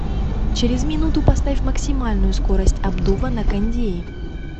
через минуту поставь максимальную скорость обдува на кондее